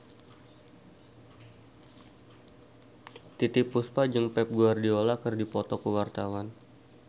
Titiek Puspa jeung Pep Guardiola keur dipoto ku wartawan